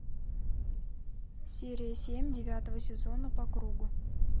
серия семь девятого сезона по кругу